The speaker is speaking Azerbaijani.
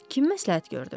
Kim məsləhət gördü?